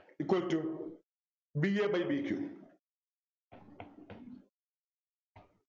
equal to b a by b q